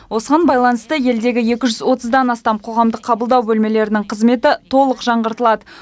осыған байланысты елдегі екі жүз отыздан астам қоғамдық қабылдау бөлмелерінің қызметі толық жаңғыртылады